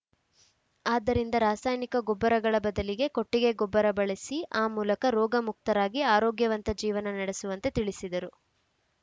ಆದ್ದರಿಂದ ರಾಸಾಯನಿಕ ಗೊಬ್ಬರಗಳ ಬದಲಿಗೆ ಕೊಟ್ಟಿಗೆ ಗೊಬ್ಬರ ಬಳಸಿ ಆ ಮೂಲಕ ರೋಗ ಮುಕ್ತರಾಗಿ ಆರೋಗ್ಯವಂತ ಜೀವನ ನಡೆಸುವಂತೆ ತಿಳಿಸಿದರು